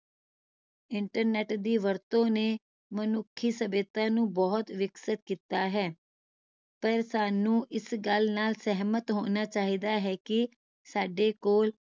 internet ਦੀ ਵਰਤੋਂ ਨੇ ਮਨੁੱਖੀ ਸਭਿਅਤਾ ਨੂੰ ਬਹੁਤ ਵਿਕਸਿਤ ਕੀਤਾ ਹੈ ਪਰ ਸਾਨੂ ਇਸ ਗੱਲ ਨਾਲ ਸਿਹਮਤ ਹੋਣਾ ਚਾਹੀਦਾ ਹੈ ਕਿ ਸਾਡੇ ਕੋਲ